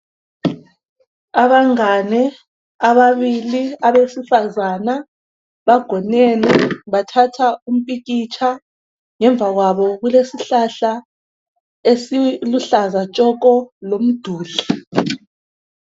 Abangane ababili ebesifazana bagonene bathatha umpikitsha. Ngemva kwabo kulesihlahla esiluhlaza tshoko lomduli.